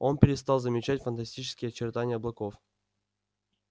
он перестал замечать фантастические очертания облаков